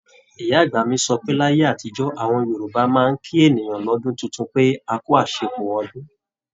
Ìyá-àgbà mi sọ pé láyé àtijó, àwọn Yorùbá máa ń kí ènìyàn lọ́dún tuntun pé, "akú àṣepọ̀ ọdún o"